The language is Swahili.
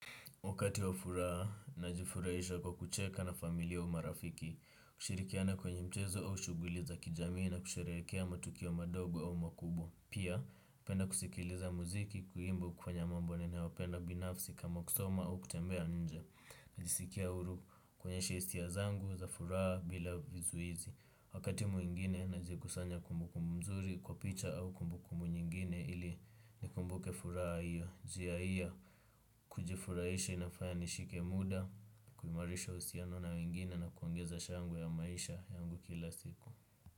Wakati wa furaha, najifurahisha kwa kucheka na familia au marafiki, kushirikiana kwenye mchezo au shuguli za kijamii na kusherehekea matukio madogo au makubo. Pia, penda kusikiliza muziki, kuimbo kufanya mambo ninayo penda binafsi kama kusoma au kutembea nje. Najisikia huru kuonyesha hisia izangu za furaha bila vizuizi. Wakati mwingine, nazikusanya kumbu kumbu mzuri kwa picha au kumbu kumbu nyingine ili ni kumbuke furaha iyo. Jiaia kujifuraisha inafaya nishike muda. Kuimarisha uhusiano na wengine na kuongeza shangwe ya maisha yangu kila siku.